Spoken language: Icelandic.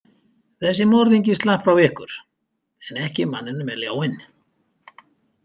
Þessi morðingi slapp frá ykkur en ekki manninum með ljáinn.